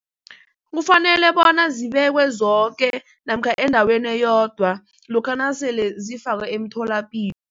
Kufanele bona zibekwe zoke namkha endaweni eyodwa lokha nasele zifakwe emtholapilo.